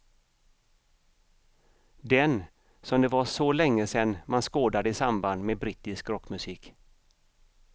Den som det var så länge sen man skådade i samband med brittisk rockmusik.